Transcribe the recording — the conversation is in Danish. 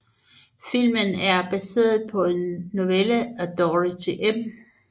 Filmen er baseret på en novelle af Dorothy M